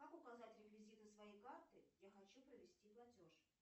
как указать реквизиты своей карты я хочу провести платеж